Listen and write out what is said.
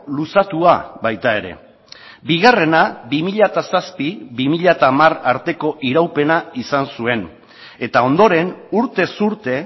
luzatua baita ere bigarrena bi mila zazpi bi mila hamar arteko iraupena izan zuen eta ondoren urtez urte